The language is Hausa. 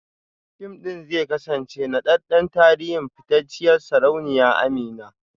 Fim ɗin zai kasance naɗaɗɗen tarihin fitacciyar sarauniya Amina